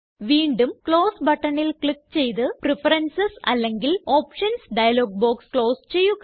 വീണ്ടും ക്ലോസ് buttonല് ക്ലിക്ക് ചെയ്ത് പ്രഫറൻസസ് അല്ലെങ്കില് ഓപ്ഷൻസ് ഡയലോഗ് ബോക്സ് ക്ലോസ് ചെയ്യുക